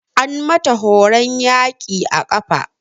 An mata horon yaƙi a ƙafa.